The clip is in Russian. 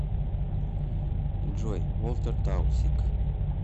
джой волтер таусиг